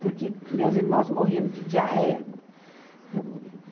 Porque meus irmãos morriam de diarreia.